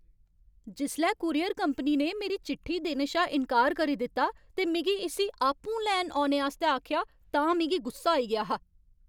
जिसलै courier company ने मेरी चिट्ठी देने शा इन्कार करी दित्ता ते मिगी इस्सी आपूं लैन औने आस्तै आखेआ तां मिगी गुस्सा आई गेआ हा।